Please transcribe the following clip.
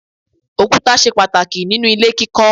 Òkúta ṣe pàtàkì ninu ilé kíkọ́.